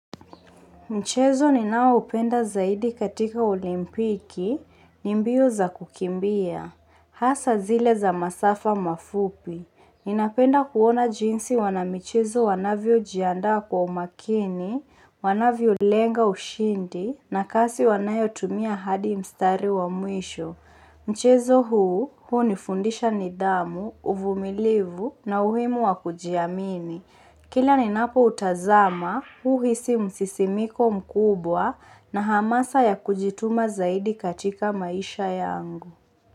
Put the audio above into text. Mchezo ninao upenda zaidi katika olimpiki, nibmbio za kukimbia. Hasa zile za masafa mafupi. Ninapenda kuona jinsi wana michezo wanavyo jiandaa kwa umakini, wanavyo lenga ushindi, na kasi wanayo tumia hadi mstari wa mwisho. Mchezo huu, huu nifundisha nidhamu, uvumilivu, na uhimu wa kujiamini. Kila ni napo utazama, uhisi msisimiko mkubwa na hamasa ya kujituma zaidi katika maisha yangu.